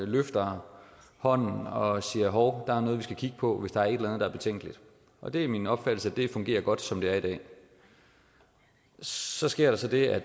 løfter hånden og siger hov der er noget vi skal kigge på hvis der er et eller andet der er betænkeligt og det er min opfattelse at det fungerer godt som det er i dag så sker der så det at